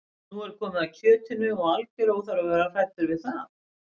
Nú er komið að kjötinu og algjör óþarfi að vera hræddur við það.